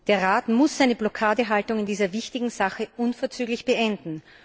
Der Rat muss seine Blockadehaltung in dieser wichtigen Sache unverzüglich beenden.